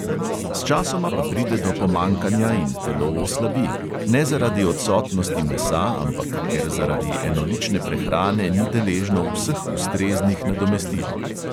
Sčasoma pa pride do pomanjkanja in telo oslabi – ne zaradi odsotnosti mesa, ampak ker zaradi enolične prehrane ni deležno vseh ustreznih nadomestil.